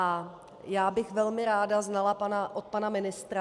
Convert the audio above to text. A já bych velmi ráda znala od pana ministra -